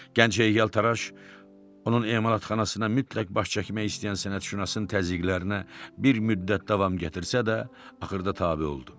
Gənc heykəltaraş onun emalatxanasına mütləq baş çəkmək istəyən sənətşünasın təzyiqlərinə bir müddət davam gətirsə də, axırda tabe oldu.